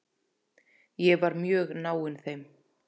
Ég var mjög náinn þeim.